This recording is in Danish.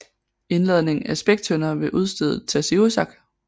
Indladning af spæktønder ved udstedet Tasiussak